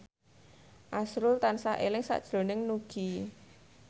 azrul tansah eling sakjroning Nugie